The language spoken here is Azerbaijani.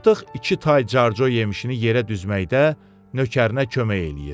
Tapdıq iki tay carco yemişini yerə düzməkdə nökərinə kömək eləyir.